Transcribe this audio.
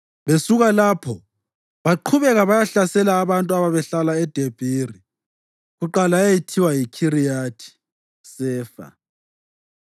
Besuka lapho baqhubeka bayahlasela abantu ababehlala eDebhiri (kuqala eyayithiwa yiKhiriyathi-Sefa).